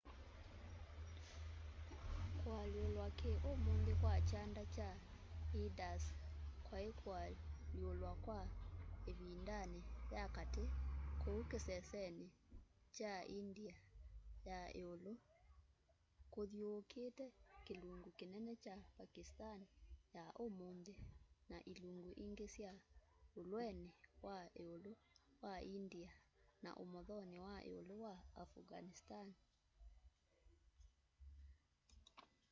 kualyulwa ki umunthi kwa kyanda kya indus kwai kualyulwa kwa ivindani ya kati kuu kiseseni kya india ya iulu kuthyuukite kilungu kinene kya pakistani ya umunthi na ilungu ingi sya ulweni wa iulu wa india na umothoni wa iulu wa afghanistan